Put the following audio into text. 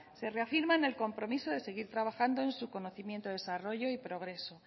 se reafirma en el compromiso de seguir trabajado en su conocimiento desarrollo y progreso